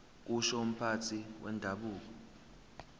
kusho umphathi wendabuko